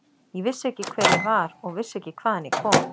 Ég vissi ekki hver ég var og vissi ekki hvaðan ég kom.